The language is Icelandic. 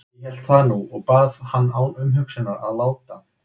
Ég hélt það nú og bað hann án umhugsunar að láta